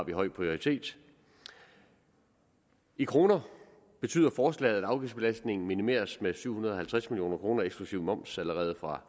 vi høj prioritet i kroner betyder forslaget at afgiftsbelastningen minimeres med syv hundrede og halvtreds million kroner eksklusive moms allerede fra